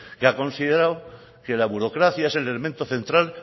que ha considerado que la burocracia es el elemento central